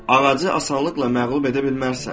Ağacı asanlıqla məğlub edə bilməzsən.